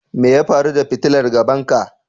Me ya faru da fitilar gaban ka?